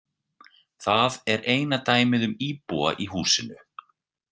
Það er eina dæmið um íbúa í húsinu.